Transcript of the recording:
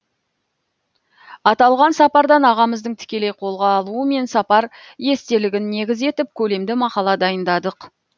аталған сапардан ағамыздың тікелей қолға алуымен сапар естелігін негіз етіп көлемді мақала дайындадық